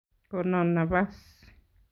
Gonon nabas.